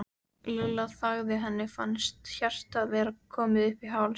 Lilla þagði, henni fannst hjartað vera komið upp í háls.